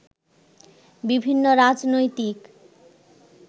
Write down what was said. বিভিন্ন রাজনৈতিক